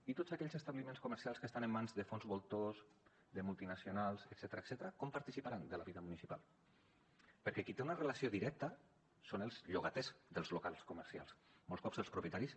i tots aquells establiments comercials que estan en mans de fons voltors de multinacionals etcètera com participaran de la vida municipal perquè qui hi té una relació directa són els llogaters dels locals comercials molts cops els propietaris